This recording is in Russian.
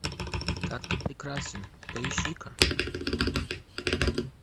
как ты прекрасен поищи ка